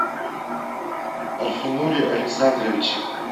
альфинуре александровиче